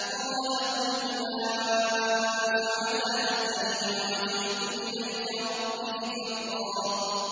قَالَ هُمْ أُولَاءِ عَلَىٰ أَثَرِي وَعَجِلْتُ إِلَيْكَ رَبِّ لِتَرْضَىٰ